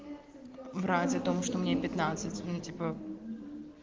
вроде того что мне ему типа